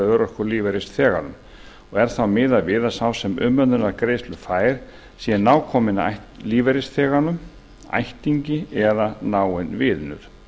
og er þá miðað við að sá sem umönnunargreiðslur fær sé nákominn lífeyrisþeganum ættingi eða náinn vinur